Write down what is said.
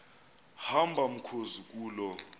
hamba mkhozi kuloo